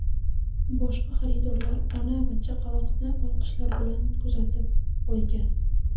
Boshqa xaridorlar ona va chaqaloqni olqishlar bilan kuzatib qo‘ygan.